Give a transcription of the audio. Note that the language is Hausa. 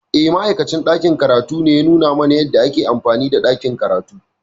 Eh, Ma’aikacin ɗakin karatu ne ya nuna mana yadda ake amfani da ɗakin karatu.